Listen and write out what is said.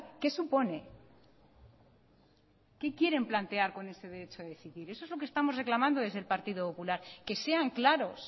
que supone que quieren plantear con el derecho a decidir eso es lo que estamos reclamando desde el partido popular que sean claros